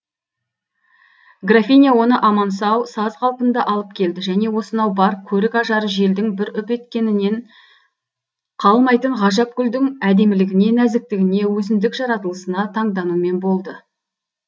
графиня оны аман сау саз қалпында алып келді және осынау бар көрік ажары желдің бір үп еткенінен қалмайтын ғажап гүлдің әдемілігіне нәзіктігіне өзіндік жаратылысына таңданумен болды